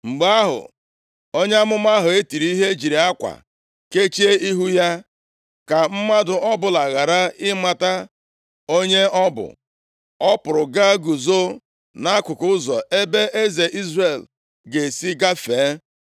Mgbe ahụ, onye amụma ahụ e tiri ihe jiri akwa kechie ihu ya, ka mmadụ ọbụla ghara ịmata onye ọ bụ. Ọ pụrụ gaa guzo nʼakụkụ ụzọ ebe eze Izrel ga-esi gafee.